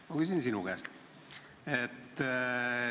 Ma küsin siis sinu käest.